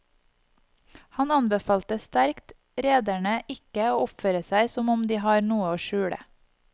Han anbefalte sterkt rederne ikke å oppføre seg som om de har noe å skjule.